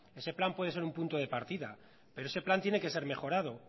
ese plan puede ser un punto de partida pero ese plan tiene que ser mejorado